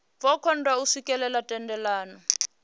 vho kundwa u swikelela thendelano